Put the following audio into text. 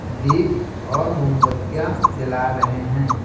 दीपऔर मोमबत्तियां जला रहे हैं।